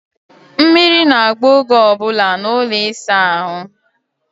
Mmiri na-agba oge ọ bụla n'ụlọ ịsa ahụ.